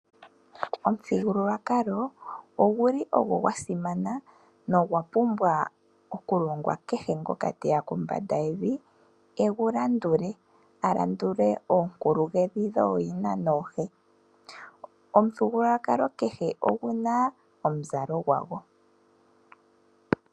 Omuthigululwakalo oguli ogwo gwa simana nogwa pumbwa okulongwa kehe ngoka teya kombanda yevi egu landule, a landule oonkuluhedhi dhooyina noohe. Omuthigululwakalo kehe ogu na omuzalo gwago.